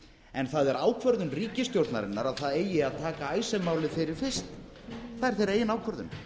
en það er ákvörðun ríkisstjórnarinnar að það eigi að taka icesave málið fyrir fyrst það er þeirra eigin ákvörðun